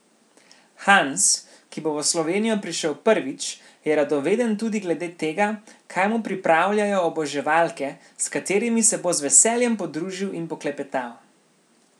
Hans, ki bo v Slovenijo prišel prvič, je radoveden tudi glede tega, kaj mu pripravljajo oboževalke, s katerimi se bo z veseljem podružil in poklepetal.